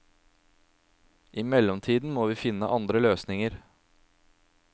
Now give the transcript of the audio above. I mellomtiden må vi finne andre løsninger.